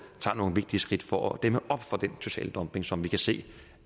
tager nogle vigtige skridt for at dæmme op for den sociale dumping som vi kan se